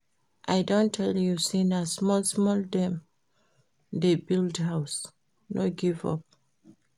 I don tell you sey na small-small dem dey build house, no give up.